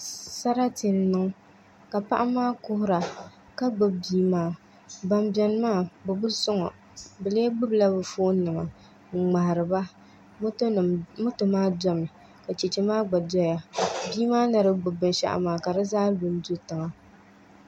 Sarati n niŋ ka paɣa maa kuhura ka gbubi bia maa bin biɛni maa bi bi soŋo bi lee gbubila bi foon nima n ŋmahariba moto maa domi ka Chɛchɛ maa gba doya bia maa ni di gbubi binshaɣu maa ka di zaa lu n do tiŋa